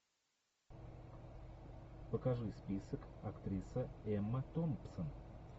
покажи список актриса эмма томпсон